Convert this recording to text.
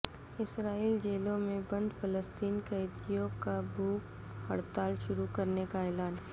اسرائیلی جیلوں میں بند فلسطینی قیدیوں کا بھوک ہڑتال شروع کرنے کا اعلان